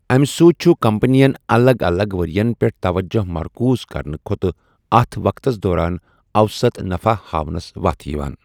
امہِ سۭتۍ چُھ كمپنین، الگ الگ ورین پیٹھ توجہِ مركوٗز كرنہٕ كھوتہٕ ، اتھ وقتس دوران اوسط نفع ہاونس وتھ یوان۔